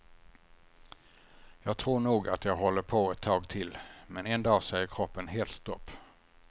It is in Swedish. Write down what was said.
Jag tror nog att jag håller på ett tag till, men en dag säger kroppen helt stopp.